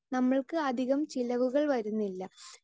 speaker 2 നമ്മൾക്ക് അധികം ചിലവുകൾ വരുന്നില്ല